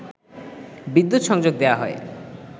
বিদ্যুৎ সংযোগ দেয়া হয়